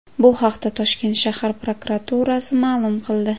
Bu haqda Toshkent shahar prokuraturasi ma’lum qildi .